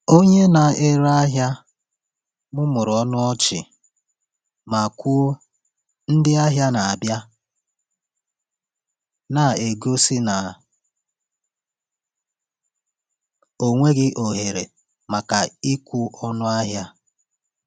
Onye na-ere ahịa mụmụrụ ọnụ ọchị ma kwuo, “Ndị ahịa na-abịa,” na-egosi na ọ nweghị ohere maka ịkwụ ọnụ ahịa.